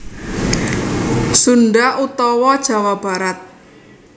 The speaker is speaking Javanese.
Sunda utawa Jawa Barat